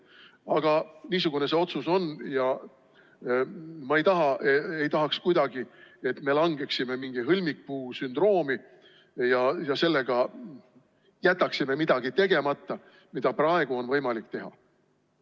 Aga niisugune see otsus on ja ma ei tahaks kuidagi, et me langeksime mingisse hõlmikpuusündroomi ja seetõttu jätaksime tegemata midagi, mida praegu on võimalik teha.